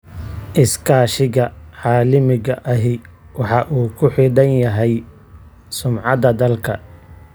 Iskaashiga caalamiga ahi waxa uu ku xidhan yahay sumcadda dalka.